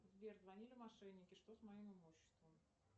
сбер звонили мошенники что с моим имуществом